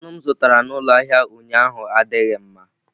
Anụ m zụtara n'ụlọ ahịa ụnyaahụ adịghị mma.